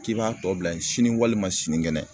K'i b'a tɔ bila yen sini walima sini kɛnɛ